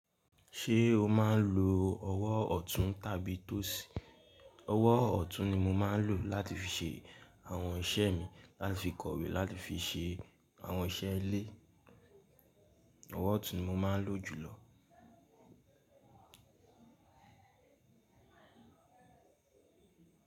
Ṣé o máa ń lo ọwọ́ ọ̀tún tàbí tósí? Ọwọ́ ọ̀tún ni mo máa ń lò láti fi ṣe àwọn iṣẹ́ mi, láti fi kọwe, láti fi ṣe àwọn iṣẹ́ ilé. Ọwọ́ ọ̀tún ni mo máa ń lò jù lọ.